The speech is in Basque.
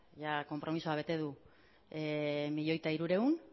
jada konpromezua bete du milioi bat hirurehun